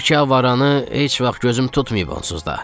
Bu iki avarannı heç vaxt gözüm tutmayıb onsuz da.